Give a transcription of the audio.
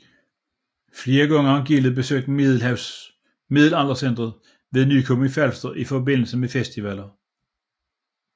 Flere gange har gildet besøgt Middelaldercentret ved Nykøbing Falster i forbindelse med festivaller